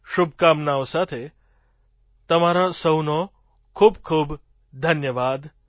આ શુભકામનાઓ સાથે તમારો સહુનો ખૂબ ખૂબ ધન્યવાદ